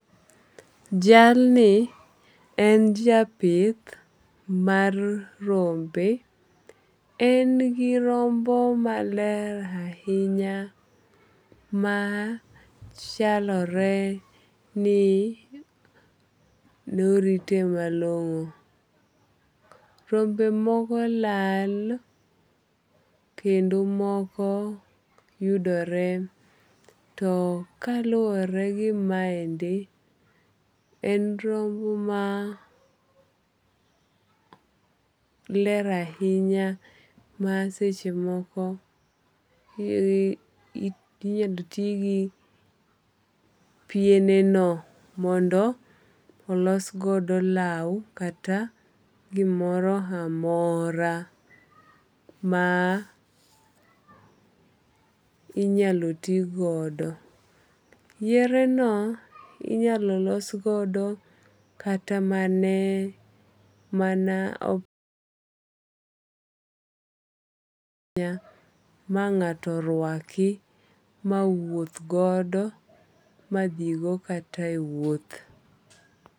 Jalni en japith mar rombr en gi rombo maler ahinya ma chalore ni ne orite malong'o. Rombe moko lal kendo moko yudore to kaslueore gi maendi, en rombo ma ler ahinya maseche moko inyalo ti gi pieneneno mondo olosgo law kata gimoro amora ma inyalo ti godo. Yiereno inyalo los godo kata mane mana mang'ato ruaki mawuoth godo madhi go kata mana ewuoth.